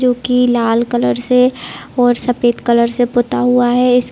जो की लाल कलर से और सफ़ेद कलर से पोता हुआ है इस --